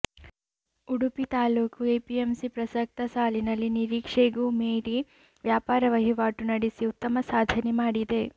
ಉಡುಪಿ ತಾಲೂಕು ಎಪಿಎಂಸಿ ಪ್ರಸಕ್ತ ಸಾಲಿನಲ್ಲಿ ನಿರೀಕ್ಷೆಗೂ ಮೀರಿ ವ್ಯಾಪಾರ ವಹಿವಾಟು ನಡೆಸಿ ಉತ್ತಮ ಸಾಧನೆ ಮಾಡಿದೆ